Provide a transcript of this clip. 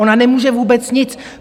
Ona nemůže vůbec nic.